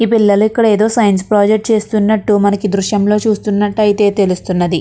ఈ పిల్లలకు ఏదో సైన్స్ ప్రాజెక్ట్ చేస్తున్నట్టు మనకి దృశ్యంలో చూస్తున్నట్లయితే తెలుస్తున్నది.